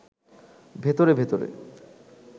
ভেতরে ভেতরে